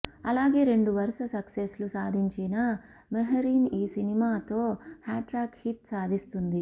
అలాగే రెండు వరుస సక్సెస్లు సాధించిన మెహరీన్ ఈసినిమాతో హ్యాట్రిక్ హిట్ సాధిస్తుంది